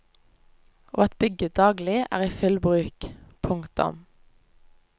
Og at bygget daglig er i full bruk. punktum